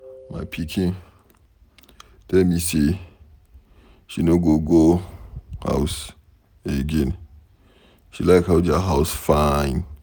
My pikin tell me say she no go go house again. She like how their house fine.